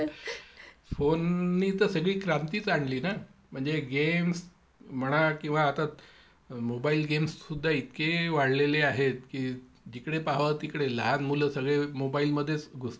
Phone नी तर सगळी क्रांतीच आणिली ना. म्हणजे गेम्स म्हणा किंवा आता मोबाईल गेम्स सुद्धा इतके वाढलेले आहेत की जिकडे पाहवं तिकडे लहान मुलं सगळे ,मोबाईल मध्येच घुसलेले असतात.